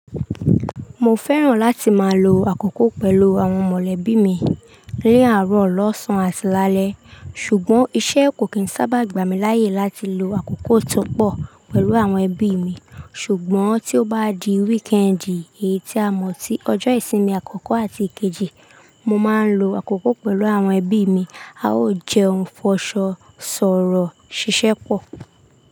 Mo fẹ́ràn láti máa lo àkókò pẹ̀lú àwọn mọ̀lẹ́bí mi ní àárọ̀, lọ́sàn-án àti lálẹ́. Ṣùgbọ́n iṣẹ́ kò kì í sábà gbà mí láyè láti lo àkókò tó pọ̀ pẹ̀lú àwọn ẹbí mi. Ṣùgbọ́n tí ó bá di wíìkẹ́ẹ̀ndì, èyí tí a mọ̀ sí ọjọ́ ìsinmi àkọ́kọ́ àti kejì, mo máa ń lo àkókò pẹ̀lú àwọn ẹbí mi. A ó jẹun, fọṣọ, sọ̀rọ̀, ṣiṣẹ́ pọ̀.